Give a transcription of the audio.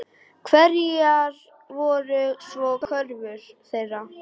Hverjar voru svo kröfur þeirra?